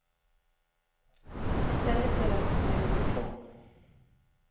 I stället delades det ut diplom.